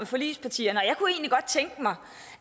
forligspartierne og tænke mig